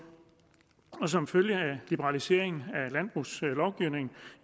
som følge af liberaliseringen af landbrugslovgivningen